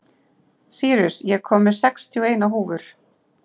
Sýrus, ég kom með sextíu og eina húfur!